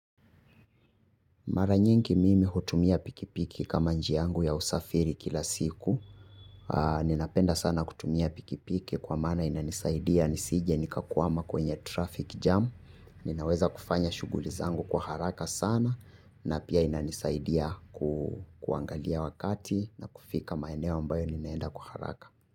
Mara nyingi mimi hutumia pikipiki kama njia yangu ya usafiri kila siku. Ninapenda sana kutumia pikipiki kwa maana inanisaidia nisije nikakwama kwenye traffic jam. Ninaweza kufanya shughuli zangu kwa haraka sana na pia inanisaidia kuangalia wakati na kufika maeneo ambayo ninaenda kwa haraka.